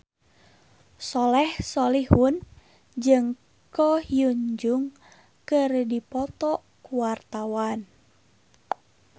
Soleh Solihun jeung Ko Hyun Jung keur dipoto ku wartawan